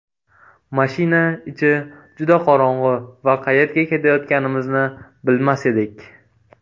Mashina ichi juda qorong‘i va qayerga ketayotganimizni bilmas edik.